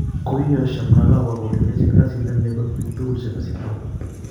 Koiyosyo Mnangagwa kole yochim kasit nemye kot pik tugul chepo zimbabwe.